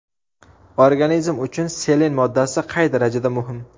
Organizm uchun selen moddasi qay darajada muhim?.